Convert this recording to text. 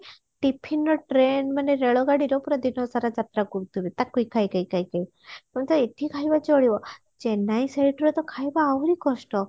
tiffin ରେ train ମାନେ ରେଳଗାଡିରେ ପୁରା ଦିନ ସାରା ଯାତ୍ରା କରୁଥିବେ ତାକୁ ହି ଖାଇ ଖାଇ ଖାଇ ଖାଇ ତମେ ତ ଏଠି ଖାଇବ ଚଳିବ ଚେନ୍ନାଇ site ରେ ତ ଖାଇବା ଆହୁରି କଷ୍ଟ